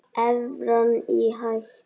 Evran í hættu?